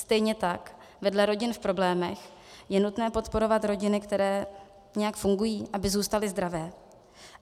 Stejně tak vedle rodin v problémech je nutné podporovat rodiny, které nějak fungují, aby zůstaly zdravé.